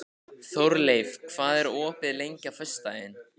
Þórleif, hvað er opið lengi á föstudaginn?